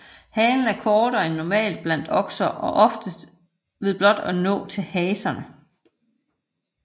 Halen er kortere end normalt blandt okser ved blot at nå til haserne